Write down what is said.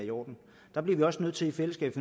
i orden der bliver vi også nødt til i fællesskab